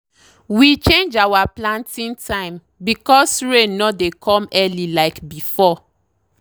we change our planting time because rain no dey come early like before.